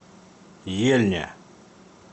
ельня